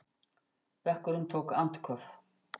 Bekkurinn tók andköf.